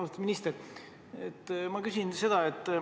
Austatud minister!